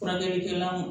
Furakɛlikɛla ma